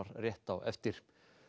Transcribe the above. rétt á eftir